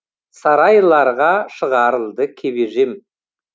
сарайларға шығарылды кебежем